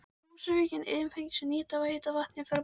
Á Húsavík eru iðnfyrirtæki sem nýta heita vatnið frá borholunum.